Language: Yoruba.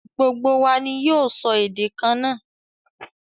Gbogbo wa ní yoo sọ èdè kanna